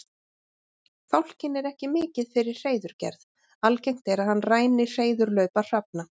Fálkinn er ekki mikið fyrir hreiðurgerð, algengt er að hann ræni hreiðurlaupa hrafna.